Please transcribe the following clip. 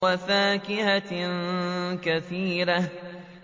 وَفَاكِهَةٍ كَثِيرَةٍ